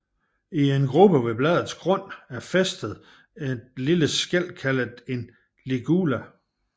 I en grube ved bladets grund er fæstet et lille skæl kaldet en ligula